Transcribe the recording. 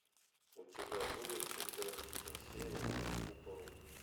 у тебя будет четырнадцатая серия под куполом